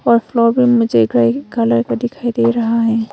Colour का दिखाई दे रहा है।